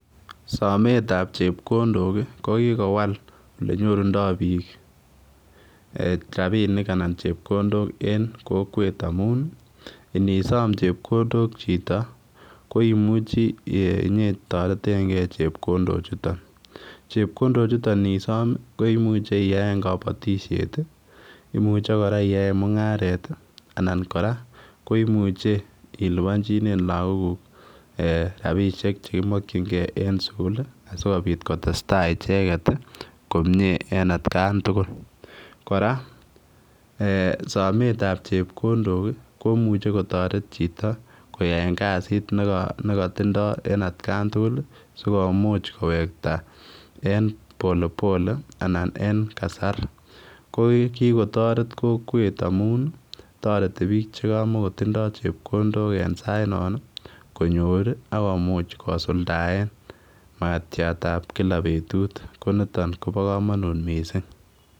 Sometab chepkondok ko kokowal olenyorundo biik rapinik anan chepkondok en kokwet amun inisom chepkondok chito koimuchi inyetoretenge chepkondo chutok. Chepkondo chuto inisom ko imuche iyaen kabatisiet, imuche kora iyaen mungaret anan kora koimuche ilubanjinen laaguk ee rapisiek chekimokyinge en sugul asigopit kotestai icheget komie en atkan tugul. Kora sometab chepkondok komuche kotoret chito koyaen kasit ne katindo en atkan tugul sikomuch kowekta en polepole anan en kasar. Ko kikotaret kokwet amun toreti biik che kamokotindo chepkondok en saitnon, konyor ak komuch kosuldaen makatiatab kila betut. Konitoany kobokamanut mising.